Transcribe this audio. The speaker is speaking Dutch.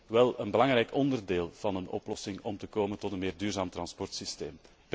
Het is wel een belangrijk onderdeel van een oplossing om te komen tot een meer duurzaam transportsysteem.